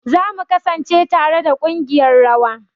Za mu kasance tare da kungiƴar rawa.